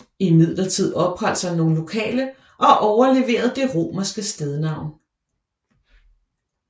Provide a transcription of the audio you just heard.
Imidlertid opholdt sig nogle lokale og overleverede det romerske stednavn